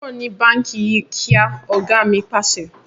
Kúrò ní báńkì yí kíá! Ọ̀gá mi Pàṣẹ.